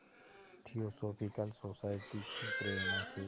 theosophical Society की प्रेरणा से